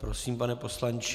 Prosím, pane poslanče.